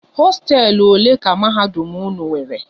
Hosteelu ole ka mahadum unu nwéré?